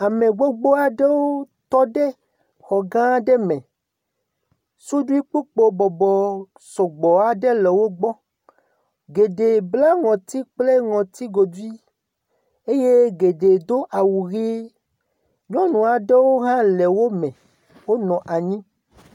Ame gbogbo aɖewo tɔ ɖe xɔ gã aɖe me. Suɖi kpukpo bɔbɔ sɔgbɔ aɖe le wogbɔ. Geɖe bla ŋɔti kple ŋɔtigodui eye geɖe do awu ʋi. Nyɔnu aɖewo hã le wo me wonɔ anyi.